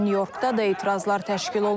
New Yorkda da etirazlar təşkil olunub.